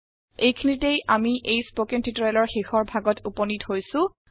এইখিনিতে আমি এই স্পকেন টিউটৰিয়েলৰ শেষ ভাগত উপনীত হৈছো